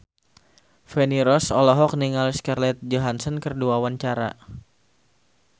Feni Rose olohok ningali Scarlett Johansson keur diwawancara